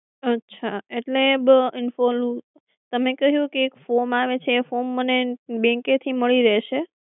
અચ્છા એટલે ઓલું તમે કહ્યું કે એક dorm આવે છે એ form મને bank એ થી મળી રહેશે?